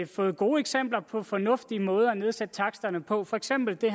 fået gode eksempler på fornuftige måder at nedsætte taksterne på for eksempel det